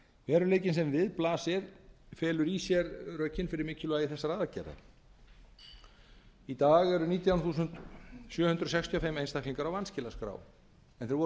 veruleikinn sem við blasir felur í sér rökin fyrir mikilvægi þessara aðgerða í dag eru nítján þúsund sjö hundruð sextíu og fimm einstaklingar á vanskilaskrá en þeir voru